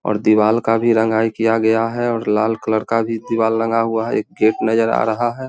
और दीवाल का भी रंगाई किया गया है और लाल कलर का भी दीवाल लगा हुआ है। एक गेट नजर आ रहा है।